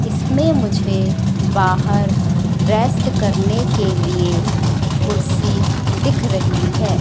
इसमें मुझे बाहर रेस्ट करने के लिए कुर्सी दिख रही है।